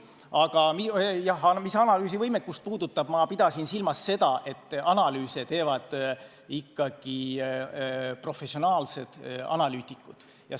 Aga mis analüüsivõimekust puudutab, siis ma pidasin silmas seda, et analüüse teevad ikkagi professionaalsed analüütikud.